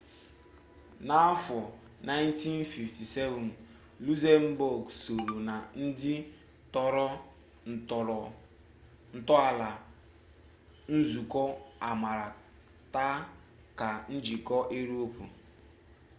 n'afọ 1957 lukzembọg sooro na ndị tọrọ ntọala nzukọ amaara ta ka njikọ iroopu